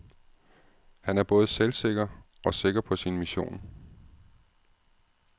Han er både selvsikker og sikker på sin mission.